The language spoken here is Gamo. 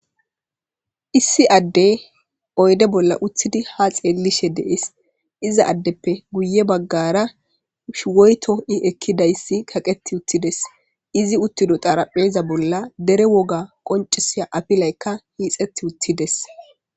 Issi adde oyde bolla uttidi ha xeellishe dees iza addeppe guye baggara shuwoyto i ekkidayssi kaqeti uttides izi uttido xarapheza bolla dere woga qoncisiya apilaykka hiixetti uttides.